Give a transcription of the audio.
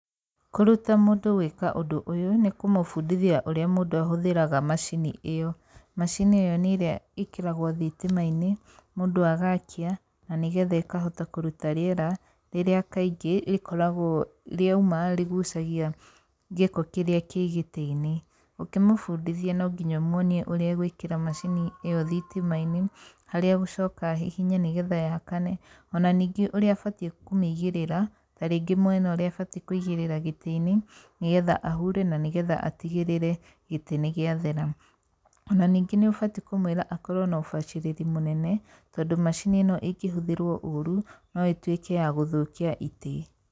Kũruta mũndũ gwĩka ũndũ ũyũ nĩ kũmũbundithia ũrĩa mũndũ ahũthĩraga macini ĩyo. Macini ĩyo nĩ ĩrĩa ĩkĩragwo thitima-inĩ, mũndũ agakia na nĩ getha ĩkahota kũruta rĩera rĩrĩa kaingĩ rĩkoragwo rĩauma rĩgucagia gĩko kĩrĩa kĩ gĩtĩ-inĩ. Ũkĩmũbundithia no nginya ũmuonie ũrĩa egũĩkĩra macini ĩyo thitima-inĩ, harĩa egũcoka ahihinye nĩ getha yakane. Ona ningĩ ũrĩa abatiĩ kũmĩgĩrĩra, ta rĩngĩ mwena ũrĩa abatiĩ kũigĩrĩra gĩtĩ-inĩ, nĩ getha ahure na nĩ getha atigĩrĩre gĩtĩ nĩ gĩathera. Ona ningĩ nĩ ũbatiĩ kũmwĩra akorwo na ũbacĩrĩri mũnene, tondũ macini ĩno ĩngĩhũthĩrwo ũru no ĩtuĩke ya gũthũkia itĩ.